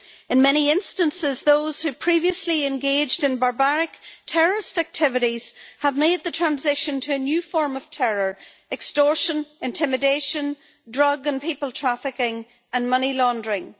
In many instances, those who previously engaged in barbaric terrorist activities have made the transition to a new form of terror extortion, intimidation, drug and people trafficking and money laundering.